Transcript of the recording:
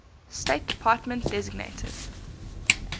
state department designated